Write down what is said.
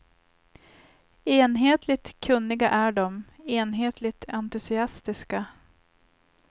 Enhetligt kunniga är de, enhetligt entusiastiska.